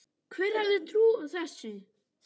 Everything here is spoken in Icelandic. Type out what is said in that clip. Hver hefði trúað þessu!